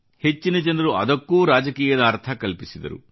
ಹೆಚ್ಚಿನ ಜನರು ಅದಕ್ಕೂ ರಾಜಕೀಯದ ಅರ್ಥ ಕಲ್ಪಿಸಿದರು